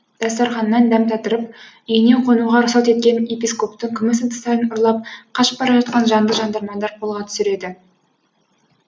дастарханнан дәм татырып үйіне қонуға рұқсат еткен епископтың күміс ыдыстарын ұрлап қашып бара жатқан жанды жандармандар қолға түсіреді